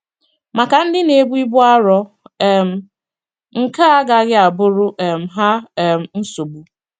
Maka ndi n'ebu ibu arọ um nke a agaghi abụrụ um ha um nsogbụ